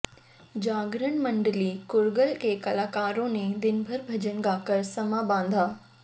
जागरण मंडली कुरगल के कलाकारों ने दिनभर भजन गाकर समां बांधा